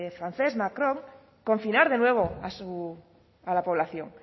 francés macron confinar de nuevo a la población